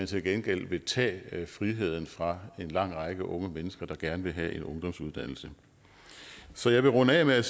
til gengæld vil tage friheden fra en lang række unge mennesker der gerne vil have en ungdomsuddannelse så jeg vil runde af med